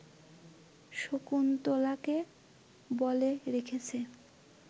শকুন্তলাকে বলে রেখেছে